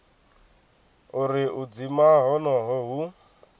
uri u dzima honoho hu